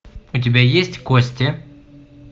у тебя есть кости